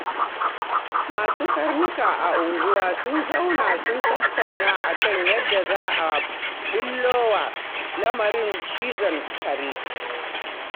Masu karnuka a unguwar sun zauna sun tattauna a kan yadda za a ɓullo wa lamarin cizon kare